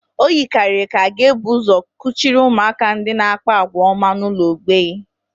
O yikarịrị ka a ga-ebu ụzọ kuchiri ụmụaka ndị na-akpa àgwà ọma n'ụlọ mgbei